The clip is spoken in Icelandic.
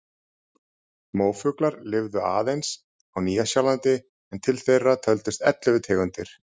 Móafuglar lifðu aðeins á Nýja-Sjálandi en til þeirra töldust ellefu tegundir.